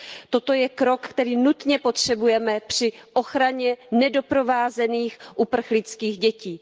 Toto je krok, který nutně potřebujeme při ochraně nedoprovázených uprchlických dětí.